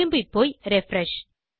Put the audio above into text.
திரும்பிப்போய் refresh